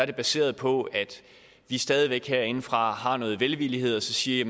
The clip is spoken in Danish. er baseret på at vi stadig væk herindefra har noget velvillighed og så siger